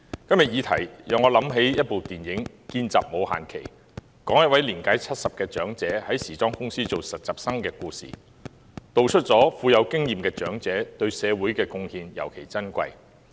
今天的議題讓我想起一齣電影"見習冇限耆"，是有關一位年屆70的長者在時裝公司做實習生的故事，道出了富有經驗的長者對社會的貢獻尤其珍貴。